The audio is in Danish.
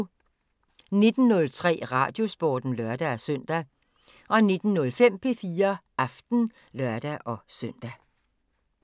19:03: Radiosporten (lør-søn) 19:05: P4 Aften (lør-søn)